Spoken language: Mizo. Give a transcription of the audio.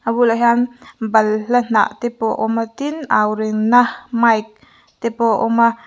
a bulah hian balhla hnah te pawh a awm a tin au rinna mic te pawh a awm a.